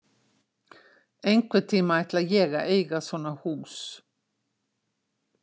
Einhvern tíma ætla ég að eiga svona hús.